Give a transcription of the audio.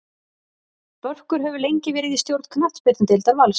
Börkur hefur lengi verið í stjórn knattspyrnudeildar Vals.